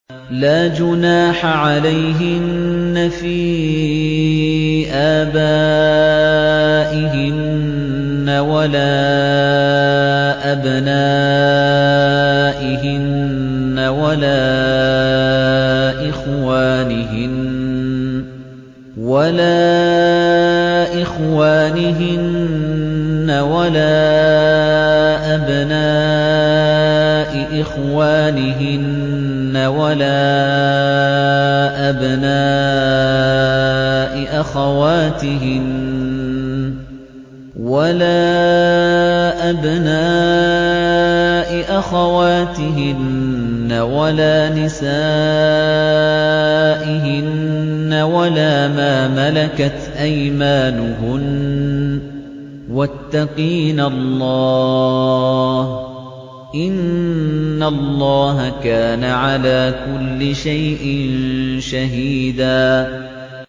لَّا جُنَاحَ عَلَيْهِنَّ فِي آبَائِهِنَّ وَلَا أَبْنَائِهِنَّ وَلَا إِخْوَانِهِنَّ وَلَا أَبْنَاءِ إِخْوَانِهِنَّ وَلَا أَبْنَاءِ أَخَوَاتِهِنَّ وَلَا نِسَائِهِنَّ وَلَا مَا مَلَكَتْ أَيْمَانُهُنَّ ۗ وَاتَّقِينَ اللَّهَ ۚ إِنَّ اللَّهَ كَانَ عَلَىٰ كُلِّ شَيْءٍ شَهِيدًا